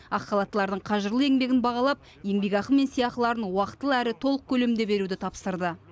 ақ халаттылардың қажырлы еңбегін бағалап еңбекақы мен сыйақыларын уақытылы әрі толық көлемде беруді тапсырды